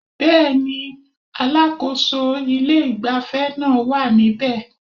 Bẹ́ẹ̀ni, alákòso ilé ìgbafẹ́ naa wá níbe